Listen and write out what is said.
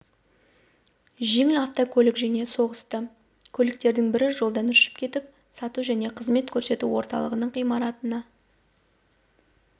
жеңіл автокөлік және соқтығысты көліктердің бірі жолдан ұшып кетіп сату және қызмет көрсету орталығының ғимаратына